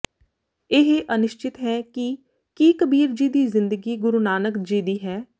ਇਹ ਅਨਿਸ਼ਚਿਤ ਹੈ ਕਿ ਕੀ ਕਬੀਰ ਜੀ ਦੀ ਜ਼ਿੰਦਗੀ ਗੁਰੂ ਨਾਨਕ ਜੀ ਦੀ ਹੈ